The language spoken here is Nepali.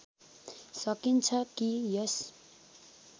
सकिन्छ कि यस